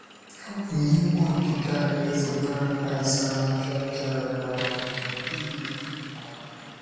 Ọ bụ n’ime ogige alaeze paradaịs ahụ ka e kere um Iv?. um